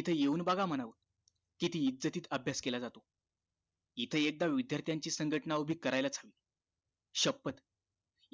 इथे येऊन बघा म्हणावं किती इज्जतीत अभ्यास केला जातो इथे एकदा विद्यार्थ्यांची संघटना उभी करायला च हवी शपथ